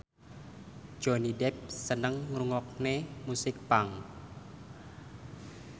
Johnny Depp seneng ngrungokne musik punk